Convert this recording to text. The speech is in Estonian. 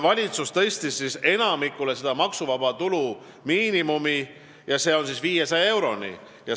Valitsus tõstis maksuvaba tulu miinimumi 500 euroni.